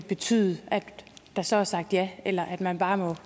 betyde at der så er sagt ja eller at man bare